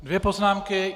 Dvě poznámky.